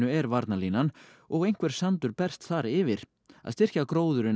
er varnarlínan og einhver sandur berst þar yfir að styrkja gróðurinn á